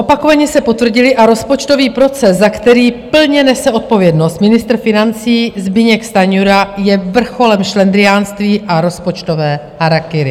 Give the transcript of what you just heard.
Opakovaně se potvrdily a rozpočtový proces, za který plně nese odpovědnost ministr financí Zbyněk Stanjura, je vrcholem šlendriánství a rozpočtového harakiri.